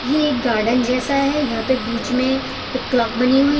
ये गार्डन जैसा है यहां पे बीच में एक क्लॉक बनी हुई --